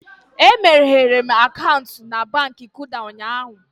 E meghere m akaụntụ na Baankị Kuda ụnyaahụ